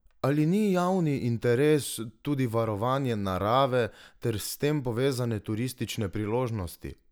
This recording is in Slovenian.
Ali ni javni interes tudi varovanje narave ter s tem povezane turistične priložnosti?